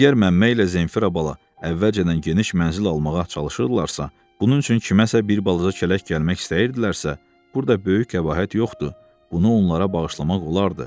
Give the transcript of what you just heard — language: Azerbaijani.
Əgər Məmmə ilə Zenfira bala əvvəlcədən geniş mənzil almağa çalışırdılarsa, bunun üçün kiməsə bir balaca kələk gəlmək istəyirdilərsə, burda böyük qəbahət yoxdur, bunu onlara bağışlamaq olardı.